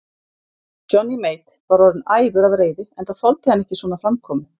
Johnny Mate var orðinn æfur af reiði, enda þoldi hann ekki svona framkomu.